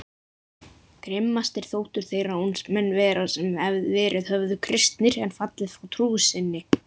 Grimmastir þóttu þeir ránsmenn vera sem verið höfðu kristnir en fallið frá trú sinni.